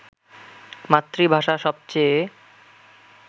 মাতৃভাষা সবচেয়ে